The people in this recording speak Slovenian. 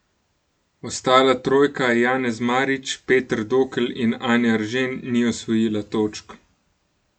Ostala trojka Janez Marič, Peter Dokl in Anja Eržen ni osvojila točk.